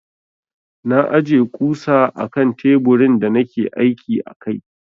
Na aje ƙusa akan teburin da nake aiki a kai.